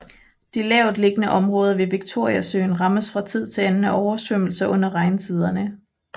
De lavtliggende områder ved Victoriasøen rammes fra tid til anden af oversvømmelser under regntiderne